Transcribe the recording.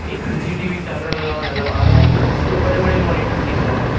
एक CCTV camera लगा हुआ नजर आ रहा है दो बड़े बड़े मॉनिटर दिख रहे है।